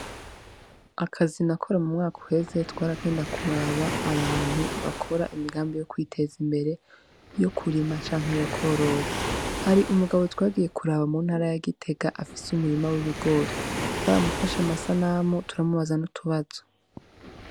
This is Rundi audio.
Akazi nakora mu mwaka uheze twaragenda kuraba abantu bakora imigambi yo kwiteza imbere yo kurima canke yo kworora. Hari umugabo twagiye kuraba mu ntara ya Gitega afise umurima w'ibigori, twaramufashe amasanamu turamubaza n'utubazo.